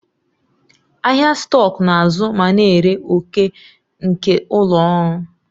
Ahịa stọkụ na-azụ ma na-ere òkè nke ụlọ ọrụ.